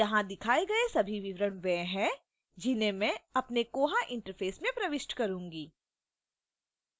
यहां दिखाए all सभी विवरण वे हैं जिन्हें मैं अपने koha interface में प्रविष्ट करूँगी